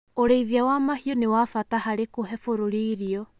Ũrĩithia wa mahiũ nĩ wa bata harĩ kũhe bũrũri irio.